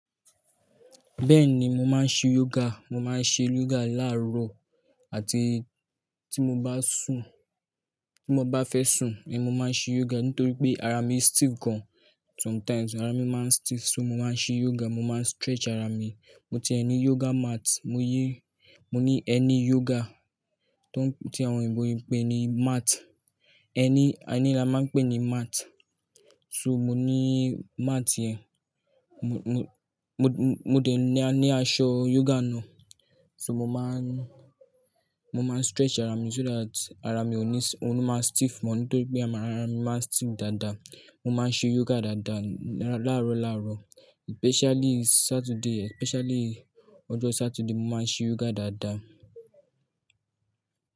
Bẹ́ẹ̀ni, mo máa ń ṣe yoga. Mo máa ń ṣe yoga láàárọ̀ àti tí mo bá sùn, tí mo bá fẹ́ sùn, mo máa ń ṣe yoga nítorí pé ara mi stiff gan. Sometimes ara mi máa ń stiff, so mo máa ń ṣe yoga, mo máa ń stretch ara mi. Mo ti ẹni yoga mat, mo yí, mo ní ẹni yoga tó ń, tí àwọn òyìnbó yín ń pè ní mat. Ẹni, ẹni ni a máa ń pè ní mat. Soo mo ní mat yẹn mo dẹ̀ ní aṣọ yoga ná. So mo máa ń, mo máa ń stretch ara mi so that ara mi ò ní, òun ni máa stiff mọ́ nítorí pé ara mi máa ń stiff dáadáa. Mo máa ń ṣe yoga dáadáa láàárọ̀ lárọ̀, especially Saturday, especially ọjọ́ Saturday mo máa ń ṣe yoga dáadáa.